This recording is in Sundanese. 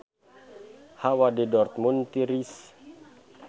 Hawa di Dortmund tiris